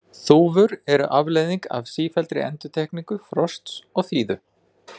þúfur eru afleiðing af sífelldri endurtekningu frosts og þíðu